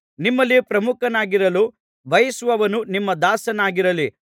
ನಿಮ್ಮಲ್ಲಿ ಪ್ರಮುಖನಾಗಿರಲು ಬಯಸುವವನು ನಿಮ್ಮ ದಾಸನಾಗಿರಲಿ